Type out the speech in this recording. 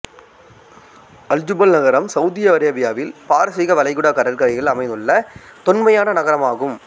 Al Jubail நகரம் Saudi அரேபியாவில் பாரசீக வளைகுடா கடற்கரையில் அமைந்துள்ள தொன்மையான நகரமாகும்